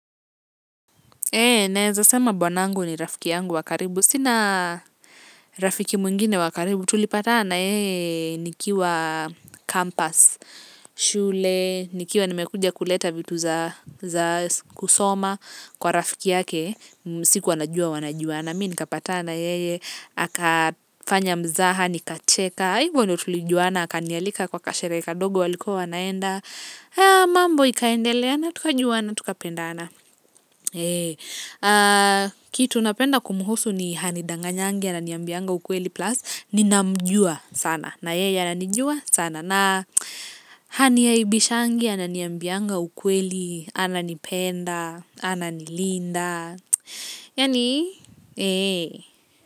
Naeza sema bwanangu ni rafiki yangu wa karibu sina rafiki mwingine wa karibu. Tulipatana na yeye nikiwa campus, shule. Nikiwa nimekuja kuleta vitu za kusoma kwa rafiki yake. Sikuwa najua wanajuana mi nikapatana. Na yeye, akafanya mzaha, nikacheka, hivyo ndio tulijuana, akanialika kwa ka sherehe kadogo walikuwa wanaenda, mambo ikaendeleana, tukajuana, tukapendana. Kitu napenda kumhusu ni hanidanganyangi, ananiambianga ukweli plus, ninamjua sana, na yeye ananijua sana. Na haniaibishangi, ananiambianga ukweli, ananipenda, ananilinda. Yani eeeh.